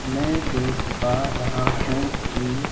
मैं देख पा रहा हूं कि--